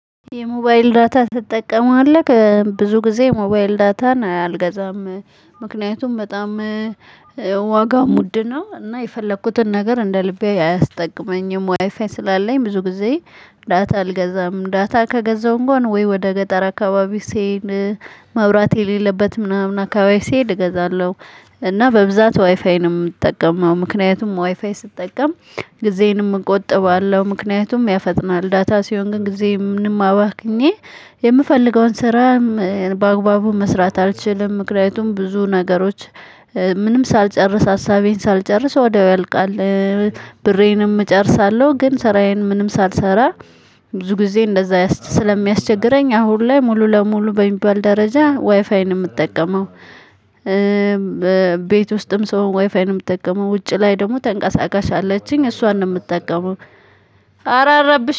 የሞባይል ዳታ ትጠቀማለህ ብዙ ጊዜ ሞባይል ዳታን አልገዛም ምክንያቱም በጣም ዋጋ ውድ ነው እና የፈለኩትን ነገር እንደ ልቤ አያስጠቅመኝም። ዋይፋይ ስላለኝ ብዙ ጊዜ። ዳታ አልገዛም ዳታ ከገዛው እንኳን ወይ ወደ ገጠር አካባቢ ስሄድ ማብራት የሌለበት ምናምን አካባቢ ስሄድ እገዛለሁ። እና በብዛት ዋይፋይ ነው የምጠቀመው። ምክንያቱም ዋይፋይ ስጠቀም ጊዜንም እቆጥባለሁ ምክንያቱም ያፈጥናል። ዳታ ሲሆን ግን ጊዜ ምንም አባክኜ የምፈልገውን ስራ በአግባቡ መስራት አልችልም። ምክንያቱም ብዙ ነገሮች ምንም ሳልጨርስ ሀሳቤን ሳልጨርስ ወዲያው ያልቃል። ብሬንም እጨርሳለሁ ግን ስራዬን ምንም ሳልሰራ ብዙ ጊዜ እንደዛ ስለሚያስቸግረኝ። አሁን ላይ ሙሉ ለሙሉ በሚባል ደረጃ ዋይፋይን የምትጠቀመው? ቤት ውስጥም ስሆን ወይፋይ ነው የምትጠቀመው? ውጪ ላይ ደግሞ ተንቀሳቃሽ አለችኝ እሷን ነው የምትጠቀመው። አረ አረብሽ